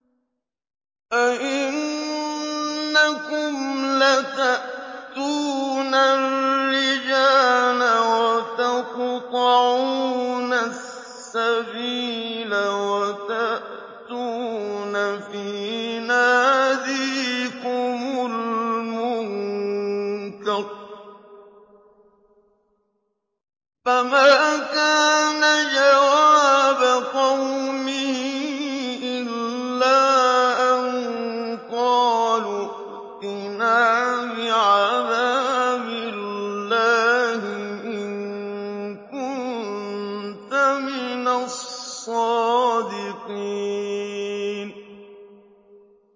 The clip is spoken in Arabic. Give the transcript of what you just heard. أَئِنَّكُمْ لَتَأْتُونَ الرِّجَالَ وَتَقْطَعُونَ السَّبِيلَ وَتَأْتُونَ فِي نَادِيكُمُ الْمُنكَرَ ۖ فَمَا كَانَ جَوَابَ قَوْمِهِ إِلَّا أَن قَالُوا ائْتِنَا بِعَذَابِ اللَّهِ إِن كُنتَ مِنَ الصَّادِقِينَ